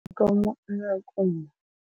Yikomo eya kumma.